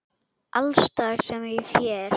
Alls staðar sem ég fer.